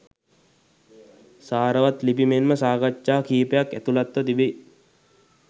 සාරවත් ලිපි මෙන්ම සාකච්ඡා කීපයක් ඇතුළත්ව තිබෙයි.